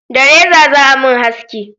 Da reza za a mun haski